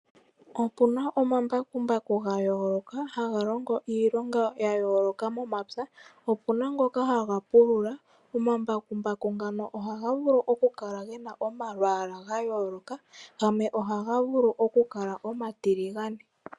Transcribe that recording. Opu na omambakumbaku ga yooloka haga longo iilonga ya yooloka momapya. Opu na ngoka haga pulula. Omambakumbaku ngano ohaga vulu okukala ge na omalwaala ga yooloka. Gamwe ohaga vulu okukala omatiligane.